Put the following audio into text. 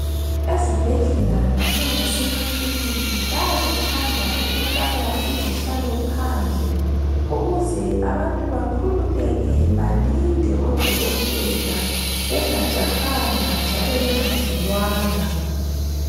Ezibhedlela kanye lasemakliniki bayakuthanda ukufaka izihlalo phandle ukuze abantu bakhululeke balinde odokotela bengajahanga njalo bengadinwanga.